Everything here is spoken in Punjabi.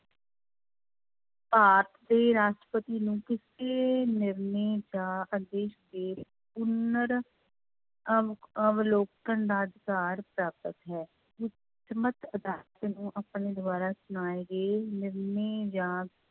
ਭਾਰਤ ਦੇ ਰਾਸ਼ਟਰਪਤੀ ਨੂੰ ਕਿਸੇ ਨਿਰਣੇ ਜਾਂ ਆਦੇਸ਼ ਦੇ ਪੁਨਰ ਅਵ ਅਵਲੋਕਨ ਦਾ ਅਧਿਕਾਰ ਪ੍ਰਾਪਤ ਹੈ, ਉੱਚਮਤ ਅਦਾਲਤ ਨੂੰ ਆਪਣੇ ਦੁਆਰਾ ਸੁਣਾਏ ਗਏ ਨਿਰਣੇ ਜਾਂ